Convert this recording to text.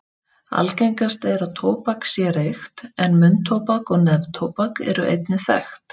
Algengast er að tóbak sé reykt en munntóbak og neftóbak eru einnig þekkt.